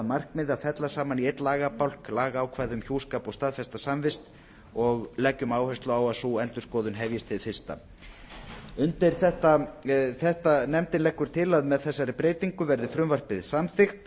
markmiði að fella saman í einn lagabálk lagaákvæði um hjúskap og staðfesta samvist og leggjum áherslu á að sú endurskoðun hefjist hið fyrsta nefndin leggur til að með þessari breytingu verði frumvarpið samþykkt